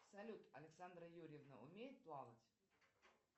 салют александра юрьевна умеет плавать